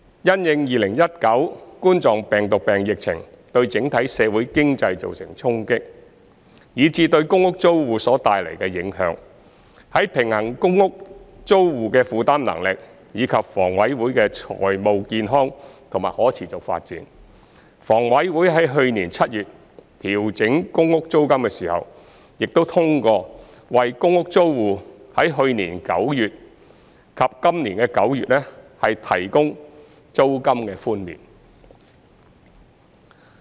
因應2019冠狀病毒病疫情對整體社會經濟造成衝擊，以至對公屋租戶所帶來的影響，在平衡公屋租戶的負擔能力，以及房委會的財務健康和可持續發展後，房委會在去年7月調整公屋租金時，亦通過為公屋租戶在去年9月及今年9月提供租金寬免。